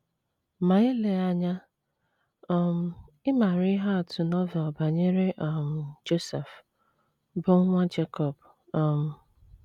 Ma eleghị anya, um ị maara ihe atụ Novel banyere um Josef, bụ́ nwa Jekọb um.